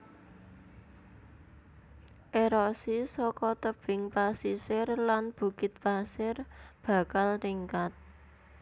Erosi saka tebing pasisir lan bukit pasir bakal ningkat